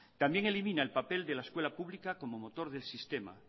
también elimina el papel de la escuela pública como motor del sistema